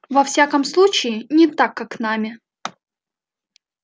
во всяком случае не так как нами